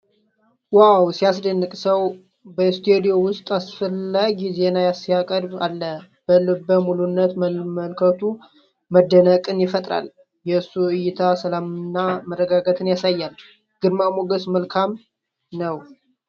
ዋው ሲያስደንቅ ሰው! በስቱዲዮ ውስጥ አስፈላጊ ዜና ሲያቀርብ አለ። በልበ ሙሉነት መመልከቱ መደነቅን ይፈጥራል። የእሱ እይታ ሰላምንና መረጋጋትን ያሳያል። ግርማ ሞገስ! መልካም!